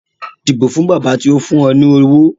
Dìbò fún bàbá tó fún ọ lówó